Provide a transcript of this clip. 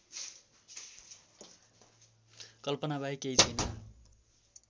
कल्पनाबाहेक केही छैन्